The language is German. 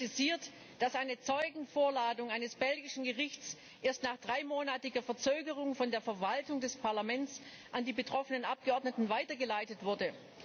Er kritisiert, dass eine Zeugenvorladung eines belgischen Gerichts erst nach dreimonatiger Verzögerung von der Verwaltung des Parlaments an die betroffenen Abgeordneten weitergeleitet wurde.